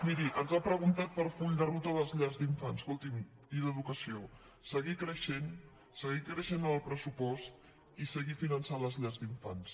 miri ens ha preguntat pel full de ruta de les llars d’infants i d’educació escolti’m seguir creixent seguir creixent amb el pressupost i seguir finançant les llars d’infants